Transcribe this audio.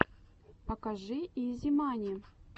покажи изи мани